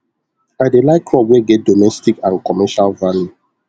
i dey like crop wey get domestic and commercial value